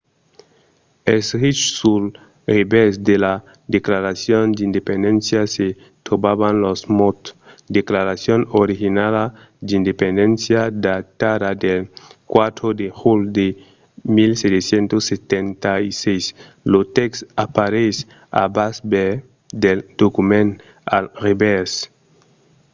escrich sul revèrs de la declaracion d’independéncia se trobavan los mots declaracion originala d’ independéncia datada del 4 de julh de 1776". lo tèxt apareis al bas del document al revèrs